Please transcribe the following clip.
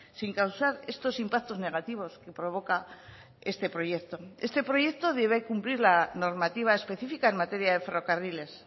sin causar estos impactos negativos que provoca este proyecto este proyecto debe cumplir la normativa específica en materia de ferrocarriles